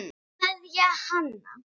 Kveðja, Hanna.